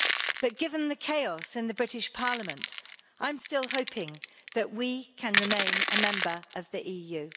But given the chaos in the British parliament, I'm still hoping that we can remain a member of the EU.